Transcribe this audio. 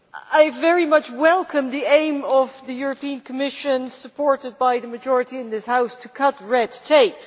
I very much welcome the aim of the Commission, supported by the majority in this House, to cut red tape.